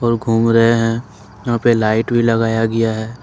और घूम रहे हैं यहां पे लाइट भी लगाया गया है।